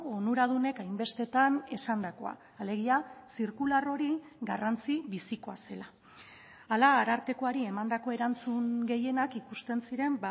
onuradunek hainbestetan esandakoa alegia zirkular hori garrantzi bizikoa zela hala arartekoari emandako erantzun gehienak ikusten ziren